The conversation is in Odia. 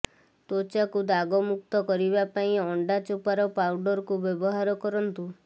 ତ୍ବଚାକୁ ଦାଗମୁକ୍ତ କରିବା ପାଇଁ ଅଣ୍ଡା ଚୋପାର ପାଉଡରକୁ ବ୍ୟବହାର କରନ୍ତୁ